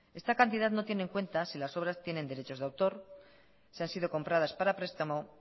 esta cantidad no tiene en cuenta si las obras tienen derechos de autor si han sido compradas para prestamo